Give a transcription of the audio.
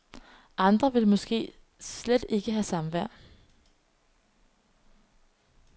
Andre vil måske slet ikke have samvær.